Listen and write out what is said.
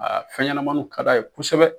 fɛn ɲɛnɛmaninw ka d'a ye kosɛbɛ.